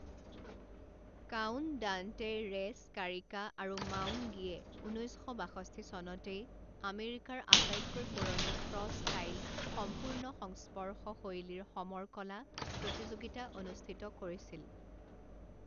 Count Dante Ray Scarica আৰু Maung Gyi ঊনৈছ শ বাষষ্ঠি চনতেই আমেৰিকাৰ আটাইতকৈ পুৰণি ক্ৰছ ষ্টাইল সম্পূৰ্ণ সংস্পৰ্শ শৈলীৰ সমৰ কলা প্ৰতিযোগিতা অনুষ্ঠিত কৰিছিল।